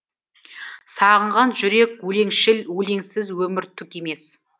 сағынған жүрек өлеңшіл өлеңсіз өмір түк емес